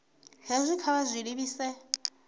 hezwi kha vha zwi livhise